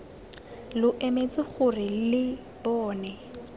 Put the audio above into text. lo emetse gore lo bone